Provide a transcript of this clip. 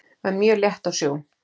Var mjög létt á sjó.